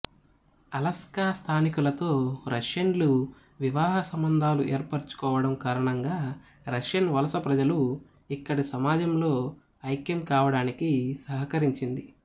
Alaska స్థానికులతో రష్యన్లు వివాహసంబంధాలు ఏర్పరచుకోవడం కారణంగా రష్యన్ వలస ప్రజలు ఇక్కడి సమాజంలో ఐక్యం కావడానికి సహకరించింది